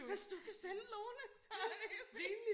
Hvis du kan sende Lone så det helt fint